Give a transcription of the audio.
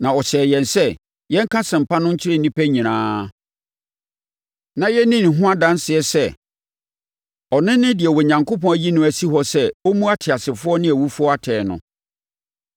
Na ɔhyɛɛ yɛn sɛ, yɛnka asɛmpa no nkyerɛ nnipa nyinaa, na yɛnni ne ho adanseɛ sɛ, ɔno ne deɛ Onyankopɔn ayi no asi hɔ sɛ ɔmmu ateasefoɔ ne awufoɔ atɛn no.